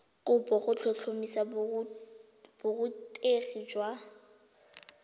kopo go tlhotlhomisa borutegi jwa